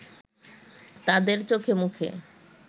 তাদের চোখেমুখে